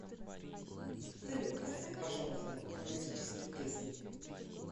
салют поставь пожалуйста романтические песни